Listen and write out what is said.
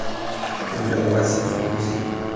гуляй вася загрузи